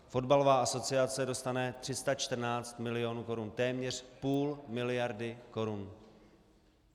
Fotbalová asociace dostane 314 mil. korun, téměř půl miliardy korun.